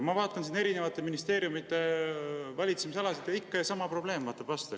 Ma vaatan siin erinevate ministeeriumide valitsemisalasid ja ikka sama probleem vaatab vastu.